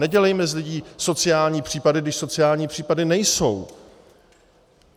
Nedělejme z lidí sociální případy, když sociální případy nejsou.